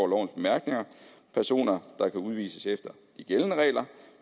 lovens bemærkninger personer der kan udvises efter de gældende regler